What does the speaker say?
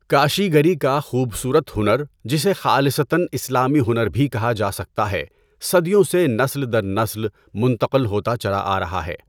کاشی گری کا خوبصورت ہنر جسے خالصتًا اسلامی ہنر بھی کہا جا سکتا ہے صدیوں سے نسل در نسل منتقل ہوتا چلا آ رہا ہے۔